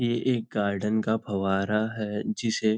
यह एक गार्डन का फवारा है जिसे --